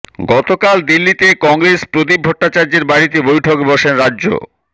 গতকাল দিল্লিতে কংগ্রেস প্রদীপ ভট্টাচার্যের বাড়িতে বৈঠকে বসেন রাজ্য